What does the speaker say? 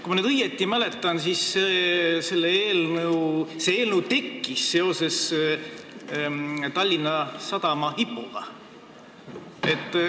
Kui ma nüüd õigesti mäletan, siis see eelnõu tekkis seoses Tallinna Sadama IPO-ga.